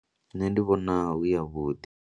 Nṋe ndi vhona hu yavhuḓi.